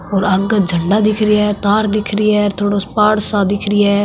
और आगे झंडा दिख रिया है तार दिख रिया है और थोड़ो सो पहाड़ दिख रिया है।